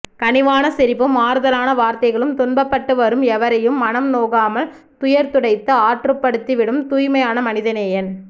கனிவான சிரிப்பும் ஆறுதலான வார்த்தைகளும் துன்பப்பட்டுவரும் எவரையும் மனம் நோகாமல் துயர் துடைத்து ஆற்றுப்படுத்தி விடும் தூய்மையான மனிதநேயன்